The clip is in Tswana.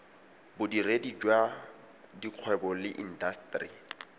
bodiredi jwa dikgwebo le intaseteri